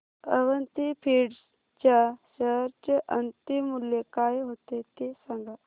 Avanti feeds च्या share चे अंतिम मूल्य काय होते ते सांगा